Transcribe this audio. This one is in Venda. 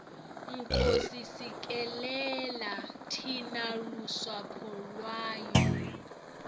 nkosi sikelela thina lusapho lwayo